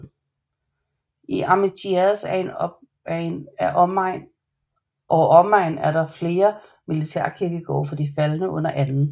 I Armentières or omegn er der flere militærkirkegårde for de faldne under 2